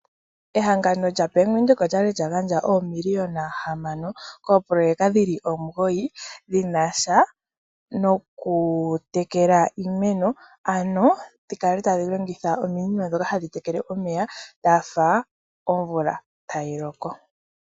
Ehangano lyaBank Windhoek olyali lyagagandja oomiliyona hamano koopoloyeka dhili omugoyi dhina sha noku tekela iimeno, ano dhikale tadhi longitha ominino ndhoka hadhi tekele iimeno dhafa omvula tayi loko